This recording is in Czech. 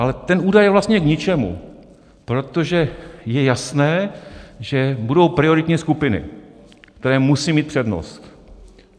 Ale ten údaj je vlastně k ničemu, protože je jasné, že budou prioritně skupiny, které musí mít přednost.